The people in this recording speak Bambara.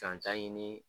Danta ɲini